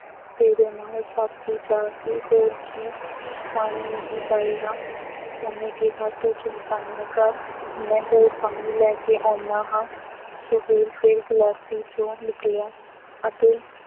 ਤੇਰੇ ਨਾਲ ਸਾਥੀ ਜਾਗ ਗਏ, ਹੋਰ ਕੀ, ਪਾਣੀ ਨਹੀਂ ਪਾਏਂਗਾ, ਉਹਨੇ ਕਿਹਾ ਤੂੰ ਚਿੰਤਾ ਨਾ ਕਰ, ਮੈਂ ਹੋਰ ਪਾਣੀ ਲੈ ਕੇ ਆਉਂਦਾ ਹਾਂ। ਸੁਹੇਲ ਫੇਰ ਗਲਾਸੀ ਜਿਉਂ ਨਿਕਲਿਆ ਅਤੇ